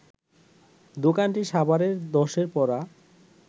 দোকানটি সাভারের ধ্বসে পড়া